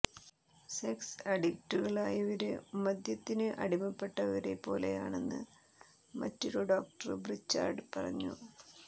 sex അഡിക്ടുകളായവര് മദ്യത്തിന് അടിമപ്പെട്ടവരെ പോലാണെന്ന് മറ്റൊരു ഡോക്ടര് ബ്രിച്ചാഡ് പറഞ്ഞു